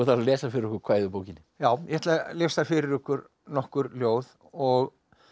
að lesa fyrir okkur kvæði úr bókinni já ég ætla að lesa fyrir ykkur nokkur ljóð og